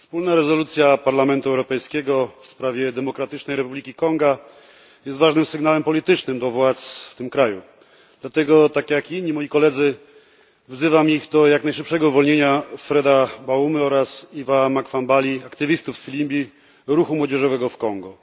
Wspólna rezolucja Parlamentu Europejskiego w sprawie Demokratycznej Republiki Konga jest ważnym sygnałem politycznym do władz w tym kraju. Dlatego tak jak inni moi koledzy wzywam ich do jak najszybszego uwolnienia Freda Baumy oraz Yves'a Makwambali, aktywistów z Filimbi, ruchu młodzieżowego w Kongo.